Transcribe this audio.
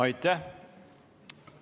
Aitäh!